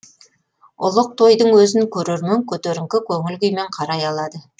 ұлық тойдың өзін көрермен көтеріңкі көңіл күймен қарай алады